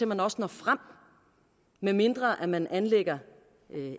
man også når frem medmindre man anlægger